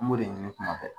N b'o de ɲini kuma bɛɛ